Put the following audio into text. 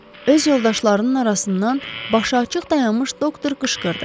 öz yoldaşlarının arasından başıaçıq dayanmış doktor qışqırdı.